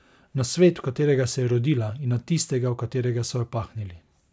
Na svet, v katerega se je rodila, in na tistega, v katerega so jo pahnili.